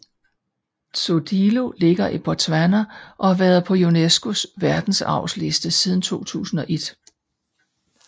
Tsodilo ligger i Botswana og har været på UNESCOs verdensarvsliste siden 2001